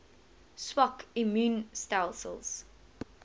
swak immuun stelsels